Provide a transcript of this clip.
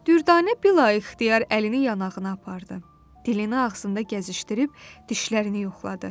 Düvdanə bilaixtiyar əlini yanağına apardı, dilini ağzında gəzdirib dişlərini yoxladı.